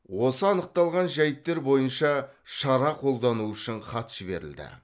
осы анықталған жайттер бойынша шара қолдану үшін хат жіберілді